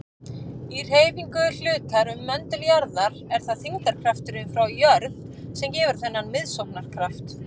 Í hreyfingu hlutar um möndul jarðar er það þyngdarkrafturinn frá jörð sem gefur þennan miðsóknarkraft.